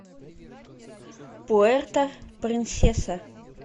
пуэрто принсеса